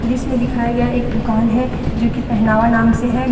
दिश में दिखाया गया है एक दुकान है जो कि पहनावा नाम से है।